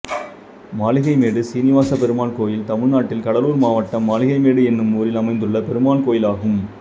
மாளிகைமேடு சீனுவாசப்பெருமாள் கோயில் தமிழ்நாட்டில் கடலூர் மாவட்டம் மாளிகைமேடு என்னும் ஊரில் அமைந்துள்ள பெருமாள் கோயிலாகும்